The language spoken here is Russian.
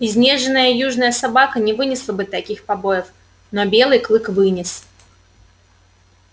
изнеженная южная собака не вынесла бы таких побоев но белый клык вынес